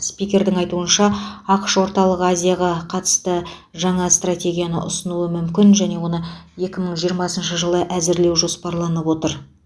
спикердің айтуынша ақш орталық азияға қатысты жаңа стратегияны ұсынуы мүмкін және оны екі мың жиырмасыншы жылы әзірлеу жоспарланып отыр